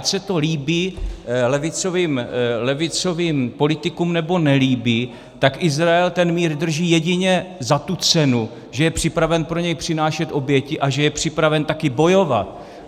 Ať se to líbí levicovým politikům, nebo nelíbí, tak Izrael ten mír drží jedině za tu cenu, že je připraven pro něj přinášet oběti a že je připraven také bojovat.